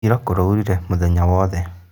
Ira kũraurire mũthenya wothe